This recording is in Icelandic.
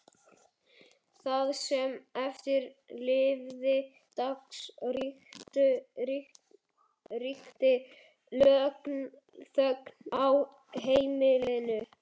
Það sem eftir lifði dags ríkti þögn á heimilinu.